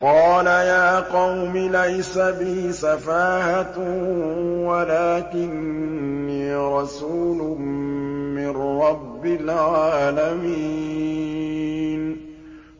قَالَ يَا قَوْمِ لَيْسَ بِي سَفَاهَةٌ وَلَٰكِنِّي رَسُولٌ مِّن رَّبِّ الْعَالَمِينَ